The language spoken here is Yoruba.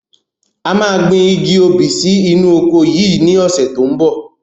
A máa gbìn igi obì sì inú oko yìí ni ọ̀sẹ̀ tó ń bọ̀.